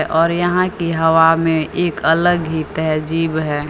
और यहां की हवा में एक अलग ही तहजीब है।